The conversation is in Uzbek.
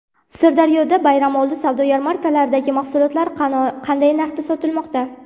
Sirdaryoda bayramoldi savdo yarmarkalaridagi mahsulotlar qanday narxda sotilmoqda?.